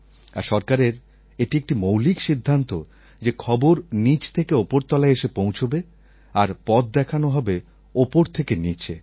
আর সরকারের এটি একটি মৌলিক সিদ্ধান্ত যে খবর নীচ থেকে ওপরতলায় এসে পৌঁছবে আর পথ দেখানো হবে ওপর থেকে নীচে